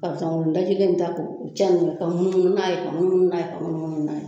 Karisa o dajilen in ta ko caani ka munnu munnu n'a ye ka munnu munnu n'a ye ka minnu munnu n'a ye